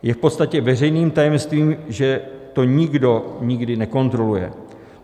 Je v podstatě veřejným tajemstvím, že to nikdo nikdy nekontroluje.